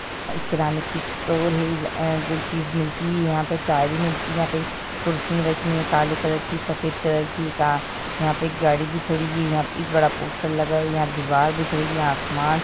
किराने की स्टोर है जो चीज मिलती है यहाँ पे चाय भी मिलती है यहाँ पे कुर्सियाँ रखी है काले कलर की सफेद कलर की यहाँ पे एक गाड़ी भी खड़ी है यहाँ पे एक बड़ा पोस्टर लगा है यहाँ दीवार दिख रही है आसमान --